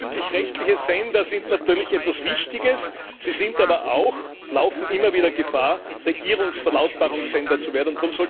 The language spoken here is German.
Öffentlich rechtliche Sender sind natürlich etwas Wichtiges, sie laufen aber auch immer wieder Gefahr, Regierungsverlautbarungssender zu werden.